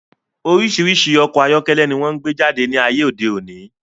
Orísirísi ọkọ̀ ayọ́kẹ́lẹ́ ni wón gbé jáde ní ayé òde òní